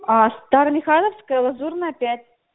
а старомихайловская лазурная пять